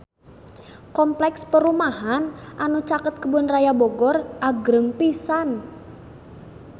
Kompleks perumahan anu caket Kebun Raya Bogor agreng pisan